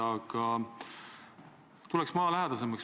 Aga ma küsin maalähedasemalt.